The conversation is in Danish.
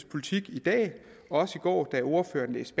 politik i dag også i går da ordføreren læste